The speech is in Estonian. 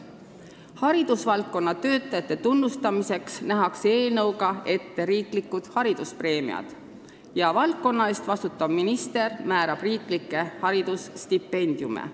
Haridusvaldkonna töötajate tunnustamiseks nähakse eelnõuga ette riiklikud hariduspreemiad ja valdkonna eest vastutav minister määrab riiklikke haridusstipendiume.